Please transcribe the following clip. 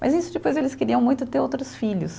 Mas isso depois eles queriam muito ter outros filhos.